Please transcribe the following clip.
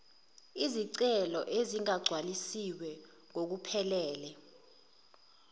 izicelo ezingagcwalisiwe ngokuphelele